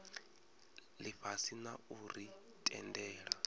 ifhasi na u ri tendela